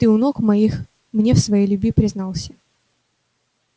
ты у ног моих мне в своей любви признался